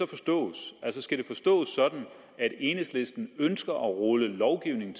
forstås sådan at enhedslisten ønsker at rulle den lovgivning